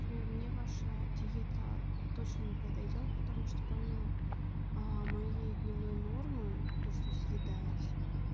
пример мне ваша диета точно не подойдёт потому что помимо моей дневной нормы то что съедать